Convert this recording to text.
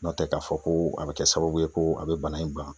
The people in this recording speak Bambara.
N'o tɛ k'a fɔ ko a be kɛ sababu ye ko a be bana in ban